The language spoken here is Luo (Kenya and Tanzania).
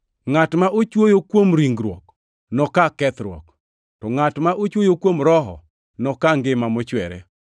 Ngʼat ma ochwoyo kuom ringruok, noka kethruok, to ngʼat ma ochwoyo kuom Roho, noka ngima mochwere.